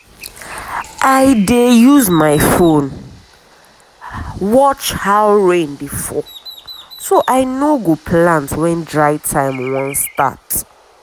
i dey use my phone watch how rain dey fall so i no go plant when dry time wan start.